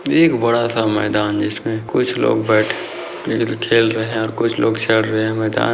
एक बड़ा-सा मैदान जिसमे कुछ लोग बैठे खेल रहे हैं और कुछ चढ़ रहे हैं मैदान--